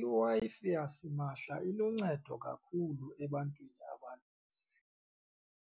IWi-Fi yasimahla iluncedo kakhulu ebantwini abanintsi